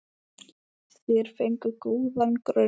Þeir fengu góðan grunn.